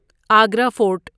Agra fort